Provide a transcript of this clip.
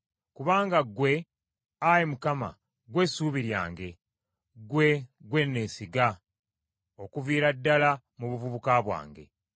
Kubanga ggwe, Ayi Mukama , ggwe ssuubi lyange; ggwe, ggwe neesiga, okuviira ddala mu buvubuka bwange.